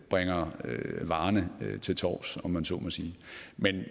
bringer varerne til torvs om jeg så må sige